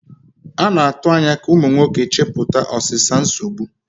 A na-atụ anya ka ụmụ nwoke chepụta ọsịsa nsogbu.